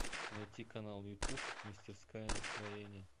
найти канал ютуб мастерская настроения